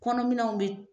Kɔnɔminɛnw bɛ